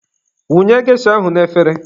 Wụnye gesha ahụ n'efere